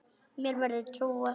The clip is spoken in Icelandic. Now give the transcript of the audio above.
Mér verður trúað.